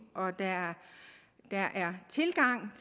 og at der er tilgang